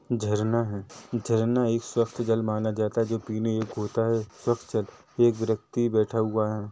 झरना है झरना एक स्वच्छ जल माना जाता हैं जो पीने योग्य होता है स्वक्छ जल एक व्यक्ति बैठा हुआ है।